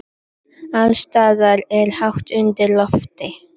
Alls staðar er hátt undir loft.